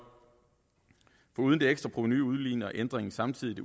foruden det ekstra provenu udligner ændringen samtidig